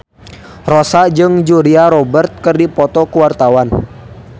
Rossa jeung Julia Robert keur dipoto ku wartawan